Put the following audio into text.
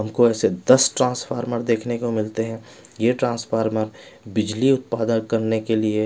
हमको ऐसे दस ट्रांसफार्मर देखने को मिलते हैं ये ट्रांसफार्मर बिजली उत्पादन करने के लिए--